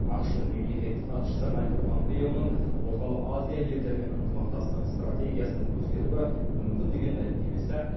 ақш тың мемлекеттік хатшысы майкл помпеоның орталық азия елдерімен ынтымақтастық стратегиясының өзгеруі мүмкін деген мәлімдемесі